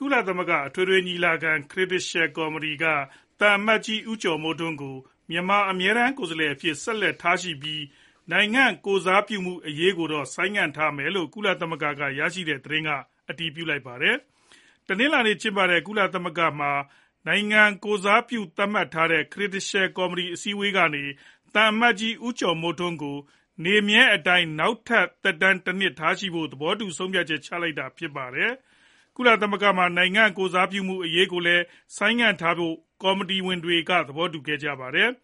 ကုလသမဂ္ဂ အထွေထွေညီလာခံ Credential ကော်မတီက သံအမတ်ကြီး ဦးကျော်မိုးထွန်း ကို မြန်မာအမြဲတမ်း ကိုယ်စားလှယ်အဖြစ် ဆက်လက်ထားရှိပြီး နိုင်ငံကိုယ်စားပြုမှုအရေးကိုတော့ ဆိုင်းငံ့ထားမယ်လို့ ကုလသမဂ္ဂက ရရှိတဲ့သတင်းကအတည်ပြုပါတယ်။ တနလာၤနေ့ ကျင်းပတဲ့ ကုလသမဂ္ဂမှာ နိုင်ငံကိုယ်စားပြုမှု သတ်မှတ်တဲ့ Credential ကော်မတီ အစည်းအဝေးကနေ သံအမတ်ကြီး ဦးကျော်မိုးထွန်း ကို နေမြဲအတိုင်း နောက်ထပ်သက်တမ်း တနှစ်ထားရှိဖို့ သဘောတူ ဆုံးဖြတ်ချက် ချလိုက်တာဖြစ်ပါတယ်။ ကုလသမဂ္ဂမှာ နိုင်ငံကိုယ်စားပြုမှု အရေးကိုလည်း ဆိုင်းငံ့ထားကြဖို့ ကော်မတီဝင်တွေက သဘောတူခဲ့ကြပါတယ်။